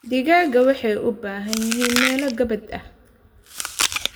Digaaggu waxay u baahan yihiin meelo gabbaad ah.